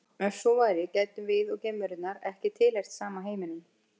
Ef svo væri gætum við og geimverunnar ekki tilheyrt sama heiminum.